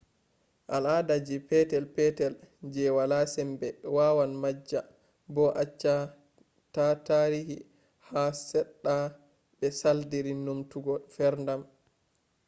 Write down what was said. ala’ada ji petel-petel je wala sembe wawan majja bo acce ta tarihi ko seɗɗa be saldiri numtugo ferdam